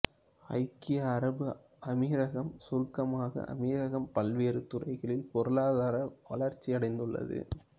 ஐக்கிய அரபு அமீரகம் சுருக்கமாக அமீரகம் பல்வேறு துறைகளில் பொருளாதார வளர்ச்சியடைந்துள்ளது